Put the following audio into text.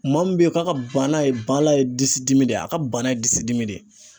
Maa min bɛ ye k'a ka bana ye , bala ye disi dimi de ye a , ka bana ye disi dimi de ye